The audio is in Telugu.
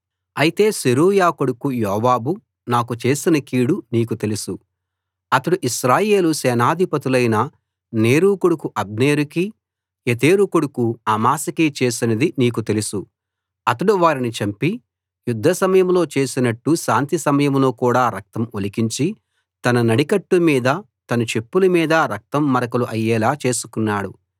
అయితే సెరూయా కొడుకు యోవాబు నాకు చేసిన కీడు నీకు తెలుసు అతడు ఇశ్రాయేలు సేనాధిపతులైన నేరు కొడుకు అబ్నేరుకీ యెతెరు కొడుకు అమాశాకీ చేసినదీ నీకు తెలుసు అతడు వారిని చంపి యుద్ధ సమయంలో చేసినట్టు శాంతి సమయంలో కూడా రక్తం ఒలికించి తన నడికట్టు మీదా తన చెప్పుల మీదా రక్తం మరకలు అయ్యేలా చేసుకున్నాడు